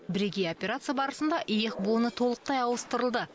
бірегей операция барысында иық буыны толықтай ауыстырылды